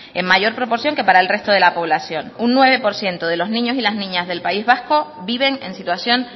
en mayor proporción que para el resto de la población un nueve por ciento de los niños y las niñas del país vasco viven en situación